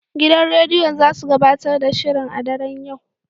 Gidan rediyon zasu gabatar da shirin a daren yau.